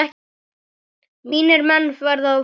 Mínir menn verða fljót